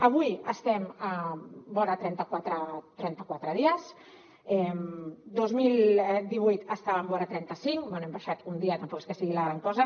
avui estem vora trenta quatre dies el dos mil divuit estàvem vora trenta cinc bé hem baixat un dia tampoc és que sigui la gran cosa